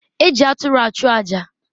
E ji aturu achụ aja.